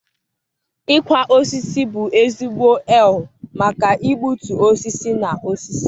ịkwa osisi bụ ezigbo eal maka igbutu osisi na osisi.